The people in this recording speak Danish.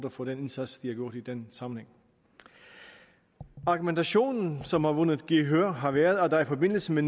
for den indsats de har gjort i den sammenhæng argumentationen som har vundet gehør har været at der i forbindelse med